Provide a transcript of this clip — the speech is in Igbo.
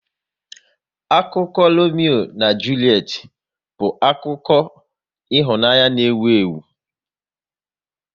Akụkọ Lomeo na Julet bụ ọtụtụ akụkọ ịhụnanya n' ewu ewu